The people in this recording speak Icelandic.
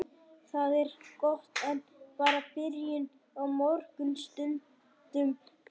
Það er gott en bara byrjun á mörgum stundum fyrir okkur.